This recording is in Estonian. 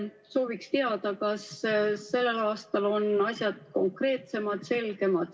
Sooviksin teada, kas sellel aastal on asjad konkreetsemad ja selgemad.